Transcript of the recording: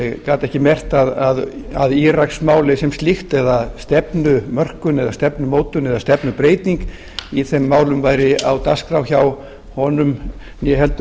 gat ekki merkt að íraksmálið sem slíkt eða stefnumörkun eða stefnumótun eða stefnubreyting í þeim málum væri á dagskrá hjá honum né heldur